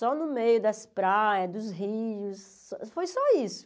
Só no meio das praias, dos rios, foi só isso.